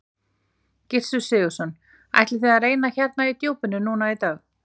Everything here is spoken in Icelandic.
Gissur Sigurðsson: Ætlið þið að reyna hérna í djúpinu núna í dag?